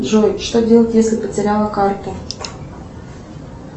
джой что делать если потеряла карту